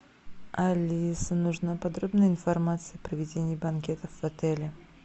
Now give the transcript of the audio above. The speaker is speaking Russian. алиса нужна подробная информация о проведении банкетов в отеле